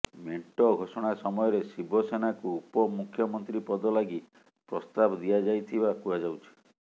ମେଣ୍ଟ ଘୋଷଣା ସମୟରେ ଶିବସେନାକୁ ଉପମୁଖ୍ୟମନ୍ତ୍ରୀ ପଦ ଲାଗି ପ୍ରସ୍ତାବ ଦିଆଯାଇଥିବା କୁହାଯାଉଛି